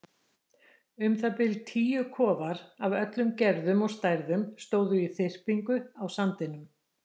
Um það bil tíu kofar af öllum gerðum og stærðum stóðu í þyrpingu á sandinum.